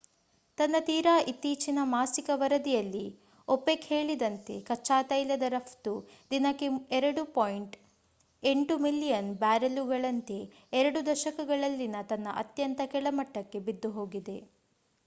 ತನ್ನ ತೀರಾ ಇತ್ತೀಚಿನ ಮಾಸಿಕ ವರದಿಯಲ್ಲಿ opec ಹೇಳಿದಂತೆ ಕಚ್ಚಾತೈಲದ ರಫ್ತು ದಿನಕ್ಕೆ 2.8 ಮಿಲಿಯನ್ ಬ್ಯಾರೆಲ್ಲುಗಳಂತೆ ಎರಡು ದಶಕಗಳಲ್ಲಿನ ತನ್ನ ಅತ್ಯಂತ ಕೆಳಮಟ್ಟಕ್ಕೆ ಬಿದ್ದುಹೋಗಿದೆ